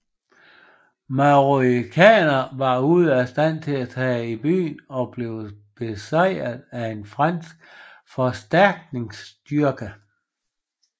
Marokkanere var ude af stand til at tage i byen og blev besejrede af en fransk forstærkningsstyrke